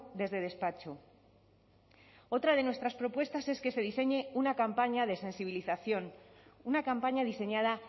desde despacho otra de nuestras propuestas es que se diseñe una campaña de sensibilización una campaña diseñada